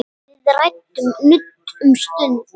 Við ræðum nudd um stund.